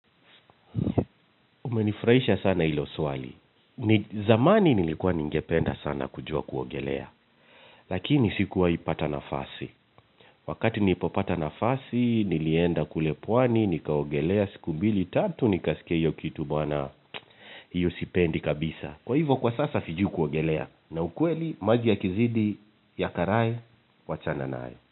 Umenifurahisha sana hilo swali. Zamani nilikuwa ningependa sana kujua kuogelea. Lakini sikuwai pata nafasi. Wakati nipopata nafasi nilienda kule pwani nikaogelea siku mbili tatu nikasikeyo kitu bwana. Hiyo sipendi kabisa. Kwa hivyo kwa sasa sijui kuogelea. Na ukweli maji yakizidi ya karai wachana nayo.